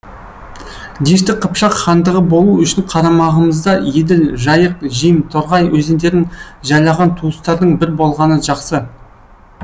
дешті қыпшақ хандығы болу үшін қарамағымызда еділ жайық жем торғай өзендерін жайлаған туыстардың бір болғаны жақсы